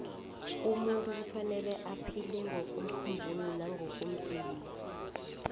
umunt kufanele aphile ngokomkhumbulo nangokomzimba